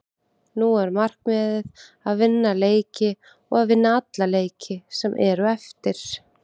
Nú er markmiðið að vinna leiki og að vinna alla leiki sem eru eftir.